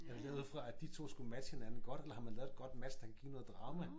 Er det lavet ud fra at de 2 skulle matche hinanden godt eller har man lavet et godt match der kan give noget drama